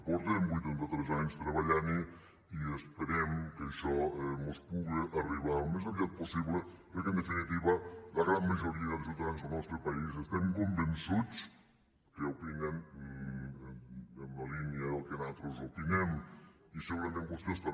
fa vuitanta tres anys que hi treballem i esperem que això mos puga arribar al més aviat possible perquè en definitiva la gran majoria de ciutadans del nostre país estem convençuts que opinen en la línia del que nosaltres opinem i segurament vostès també